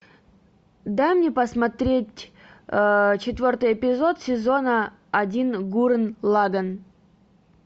дай мне посмотреть четвертый эпизод сезона один гуррен лаганн